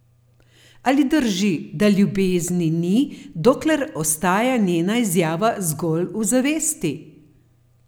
Ali drži, da ljubezni ni, dokler ostaja njena izjava zgolj v zavesti?